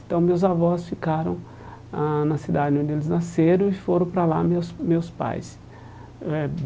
Então, meus avós ficaram ãh na cidade onde eles nasceram e foram para lá meus meus pais eh.